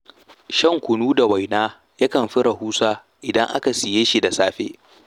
Shan kunu da waina yakan fi rahusa idan aka siye shi da safe.